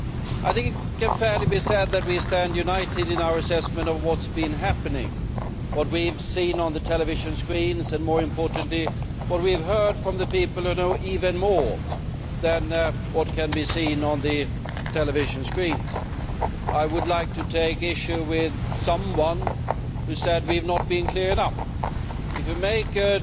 I think it can fairly be said that we stand united in our assessment of what has been happening, what we have seen on the television screens and, more importantly, what we have heard from the people who know even more than what can be seen on the television screens. I would like to take issue with someone who said we have not been clear enough. If you make